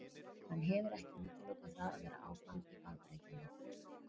Hann hefur ekki útilokað það að vera áfram í Bandaríkjunum.